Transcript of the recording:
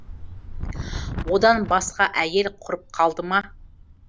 одан басқа әйел құрып қалды ма